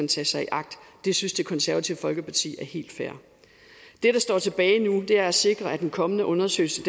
tage sig i agt det synes det konservative folkeparti er helt fair det der står tilbage nu er at sikre at den kommende undersøgelse